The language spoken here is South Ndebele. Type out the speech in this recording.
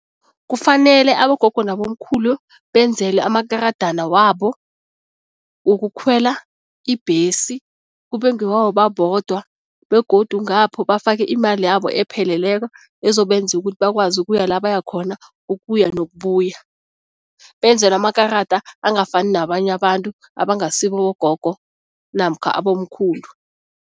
Kufanele abogogo nabomkhulu benzelwe amakaradana wabo wokukhwela ibhesi, kube ngewabo babodwa begodu ngapho bafake imali yabo epheleleko ezobenza ukuthi bakwazi ukuya lapha baya khona, ukuya nokubuya. Benzelwe amakarada angafani nabanye abantu abangasibo abogogo namkha abomkhulu.